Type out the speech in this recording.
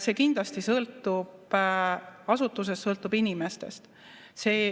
See kindlasti sõltub asutusest, sõltub inimestest.